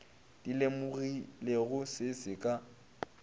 di lemogilego se se ka